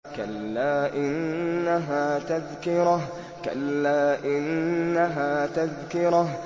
كَلَّا إِنَّهَا تَذْكِرَةٌ